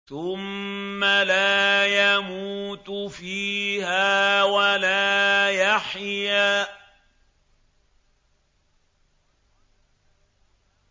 ثُمَّ لَا يَمُوتُ فِيهَا وَلَا يَحْيَىٰ